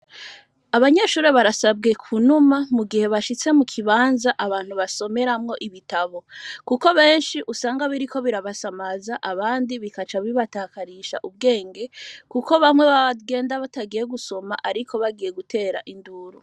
Abanyeshure, barasabwe kunuma, mu gihe bashitse mu kibanza, abantu basomeramwo ibitabo; kuko benshi, usanga biriko birabasamaza, abandi, bikaca bibatakarisha ubwenge; kuko bamwe, bagenda, batagiye gusoma, ariko, bagiye gutera induru.